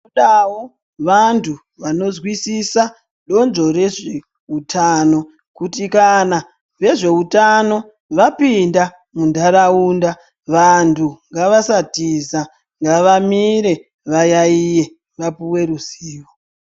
Tinodavo vantu vanozwisisa donzvo rezveutano kuti kana vezvehutano vapinda mundaraunda. Vantu ngavasatiza ngavamire vayaiye vapuve ruzivo.